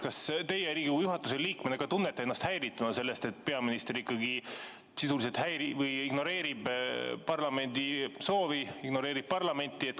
Kas teie Riigikogu juhatuse liikmena tunnete ennast häirituna sellest, et peaminister sisuliselt ignoreerib parlamendi soovi, ignoreerib parlamenti?